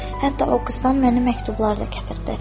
Hətta o qızdan mənə məktublar da gətirdi.